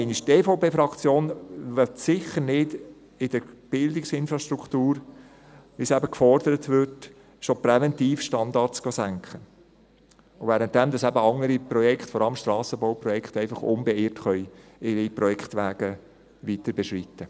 Die EVP-Fraktion will sicher nicht in der Bildungsinfrastruktur, wie es gefordert wurde, schon präventiv Standards senken, während andere Projekte – vor allem Strassenbauprojekte – unbeirrt ihre Projektwege weiterbeschreiten können.